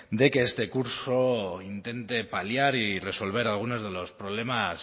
de que este curso intente paliar y resolver algunos de los problemas